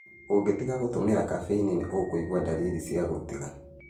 Ũngĩtiga gũtũmĩra caffeini nĩ ũkũigua dariri cia gũtiga.